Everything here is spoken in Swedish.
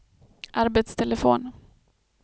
arbetstelefon